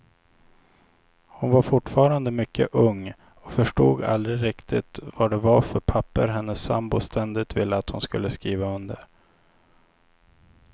Hon var fortfarande mycket ung och förstod aldrig riktigt vad det var för papper hennes sambo ständigt ville att hon skulle skriva under.